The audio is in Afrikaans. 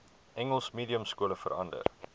engels mediumskole verander